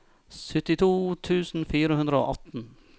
syttito tusen fire hundre og atten